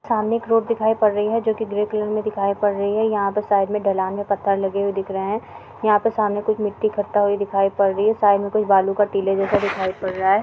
सामने एक रोड दिखाई पड़ रही है जो कि ग्रे कलर में दिखाई पड़ रही है। यहाँ पे साइड् में ढलान में पत्थर लगे हुए दिख रहे हैं। यहाँ पे सामने कुछ मिट्टी इकट्ठा हुई दिख पड़ रही है। साइड में कुछ बालू के टीलें जैसे दिखाई पड़ रहा है।